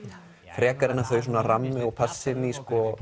frekar en að þau rammi og passi inn í